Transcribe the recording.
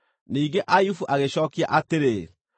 Ningĩ Ayubu agĩcookia atĩrĩ: